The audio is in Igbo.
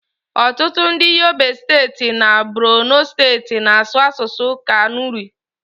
ọtụtụ ndị Yobe steeti na Borono steeti na-asụ asụsụ Kanuri